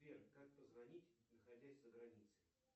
сбер как позвонить находясь за границей